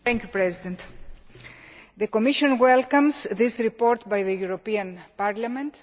Mr President, the Commission welcomes this report by the European Parliament.